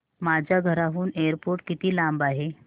माझ्या घराहून एअरपोर्ट किती लांब आहे